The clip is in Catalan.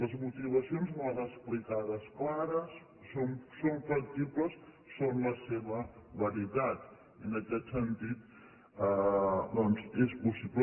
les motivacions me les ha explicades clares són flexibles són la seva veritat i en aquest sentit doncs és possible